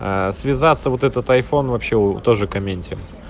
а связаться вот этот айфон вообще тоже комедия